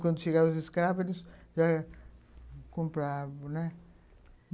Quando chegaram os escravos, eles já compravam, né?